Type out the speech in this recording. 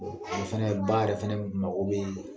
O fɛnɛ ba yɛrɛ fɛnɛ mago bi